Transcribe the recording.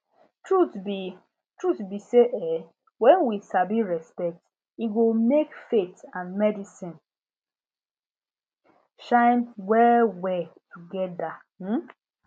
truth be truth be say um when we sabi respect e go make faith and medicine shine wellwell together um